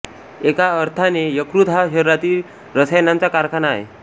एका अर्थाने यकृत हा शरीरातील रसायनांचा कारखाना आहे